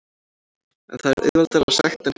En það er auðveldara sagt en gert.